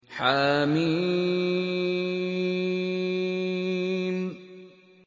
حم